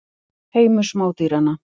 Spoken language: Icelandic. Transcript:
Heimur smádýranna.